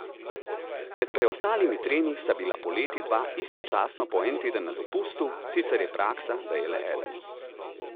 Med preostalimi tremi sta bila poleti dva istočasno po en teden na dopustu, sicer je praksa, da je le eden.